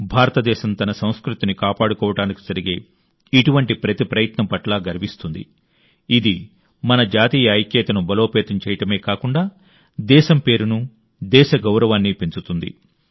భారతదేశం తన సంస్కృతిని కాపాడుకోవడానికి జరిగే ఇటువంటి ప్రతి ప్రయత్నం పట్ల గర్విస్తుంది ఇది మన జాతీయ ఐక్యతను బలోపేతం చేయడమే కాకుండా దేశం పేరును దేశ గౌరవాన్ని పెంచుతుంది